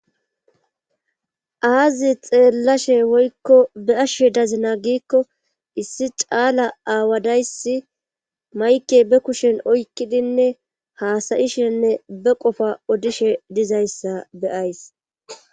aazi xeellashe woykko be ashshe dazina giikko issi caala aawadayssi mayke be kushen oykkidinne haasayishenne be qofa odishe dizayssa beyays